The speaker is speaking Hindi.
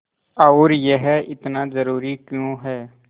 और यह इतना ज़रूरी क्यों है